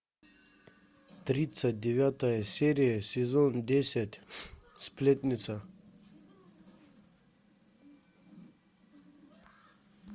тридцать девятая серия сезон десять сплетница